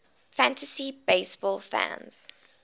fantasy baseball fans